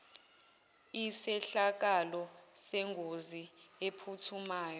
isehlakalo sengozi ephuthumayo